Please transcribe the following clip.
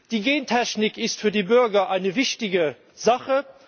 Die Gentechnik ist für die Bürger eine wichtige Sache.